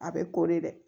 A bɛ ko de